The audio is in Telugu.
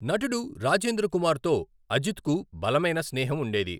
నటుడు రాజేంద్ర కుమార్తో అజిత్కు బలమైన స్నేహం ఉండేది.